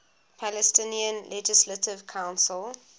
palestinian legislative council